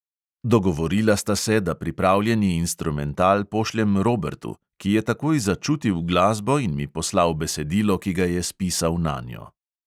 Dogovorila sta se, da pripravljeni instrumental pošljem robertu, ki je takoj začutil glasbo in mi poslal besedilo, ki ga je spisal nanjo.